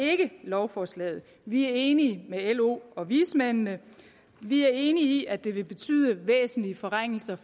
ikke lovforslaget vi er enige med lo og vismændene vi er enige i at det vil betyde væsentlige forringelser